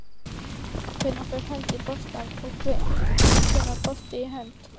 Hvenær fer hönd í bolta og hvenær bolti í hönd?